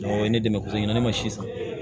Ɔ ne dɛmɛ kulu in na ne ma si san